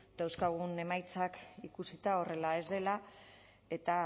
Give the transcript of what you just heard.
dauzkagun emaitzak ikusita horrela ez dela eta